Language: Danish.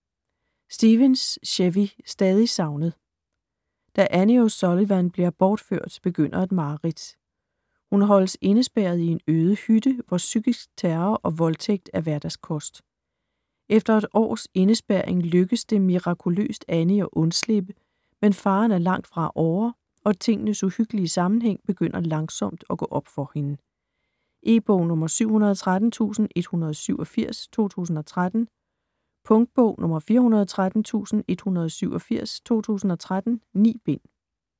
Stevens, Chevy: Stadig savnet Da Annie O'Sullivan bliver bortført, begynder et mareridt. Hun holdes indespærret i en øde hytte, hvor psykisk terror og voldtægt er hverdagskost. Efter et års indespærring lykkes det mirakuløst Annie at undslippe, men faren er langt fra ovre og tingenes uhyggelige sammenhæng begynder langsomt at gå op for hende. E-bog 713187 2013. Punktbog 413187 2013. 9 bind.